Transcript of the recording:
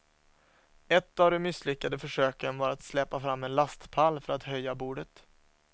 Ett av de misslyckade försöken var att släpa fram en lastpall för att höja bordet.